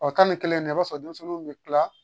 Ɔ tan ni kelen na i b'a sɔrɔ denmisɛnninw bɛ tila